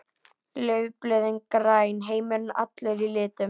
Laufblöðin græn, heimurinn allur í litum.